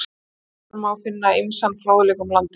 Þar má finna ýmsan fróðleik um landið.